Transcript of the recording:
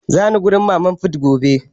Zani wurin mama fut gobe